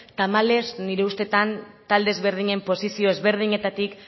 tamalez nire ustez talde ezberdinen posizio ezberdinetatik